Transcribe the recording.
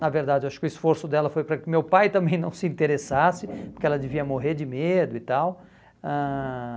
Na verdade, acho que o esforço dela foi para que meu pai também não se interessasse, porque ela devia morrer de medo e tal. Ãh